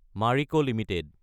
Marico Ltd